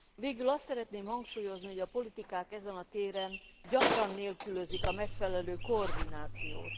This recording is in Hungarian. Végül azt szeretném hangsúlyozni, hogy a politikák ezen a téren gyakran nélkülözik a megfelelő koordinációt.